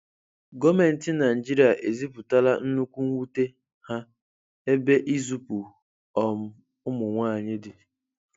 Gọọmenti Naịjirịa ezipụtala nnukwu nwute ha ebe izupu um ụmụnwaanyị dị.